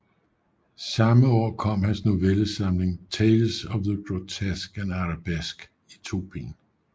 Samme år kom hans novellesamling Tales of the Grotesque and Arabesque i to bind